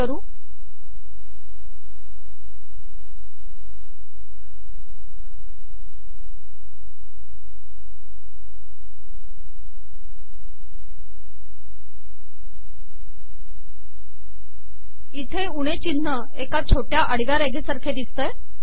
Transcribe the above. हे पहा की उणे िचनह एका छोटया आडवया रेघेसारखे िदसत आहे